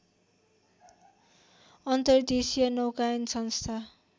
अन्तर्देशीय नौकायन संस्थान